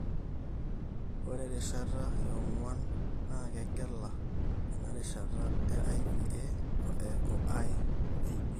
ore erishata enguan (IV) na kegela ena erishata (IVA o IVB.